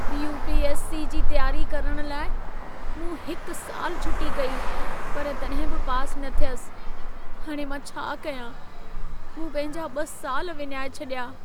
UPSC. जी तियारी करण लाइ मूं हिक साल छुटी कई, पर तॾहिं बि पास न थियसि। हाणे मां छा कयां? मूं पंहिंजा ॿ साल विञाए छॾिया।